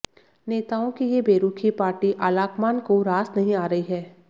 नेताओं की ये बेरुखी पार्टी आलाकमान को रास नहीं आ रही है